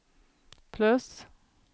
plus